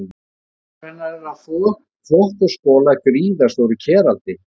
Móðir hennar er að þvo þvott og skola í gríðarstóru keraldi.